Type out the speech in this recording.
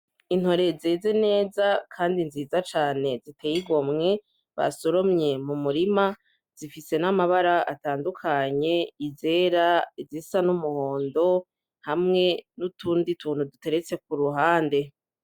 Intore zeze neza kandi nziza cane ziteye igomwe basoromye mu murima zifise n'amabara atandukanye izera izisa n'umuhondo hamwe n'utundi tuntu duteretse kuruhande.